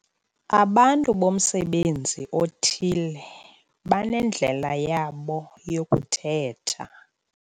Abantu bomsebenzi othile banendlela yabo yokuthetha.